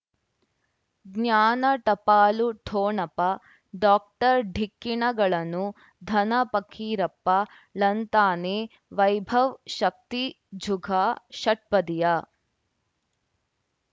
ಜ್ಞಾನ ಟಪಾಲು ಠೊಣಪ ಡಾಕ್ಟರ್ ಢಿಕ್ಕಿ ಣಗಳನು ಧನ ಫಕೀರಪ್ಪ ಳಂತಾನೆ ವೈಭವ್ ಶಕ್ತಿ ಝುಗ ಷಟ್ಪದಿಯ